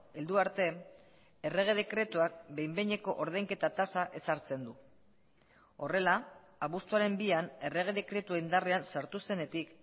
heldu arte errege dekretuak behin behineko ordainketa tasa ezartzen du horrela abuztuaren bian errege dekretua indarrean sartu zenetik